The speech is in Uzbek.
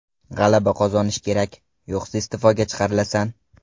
G‘alaba qozonish kerak, yo‘qsa iste’foga chiqarilasan.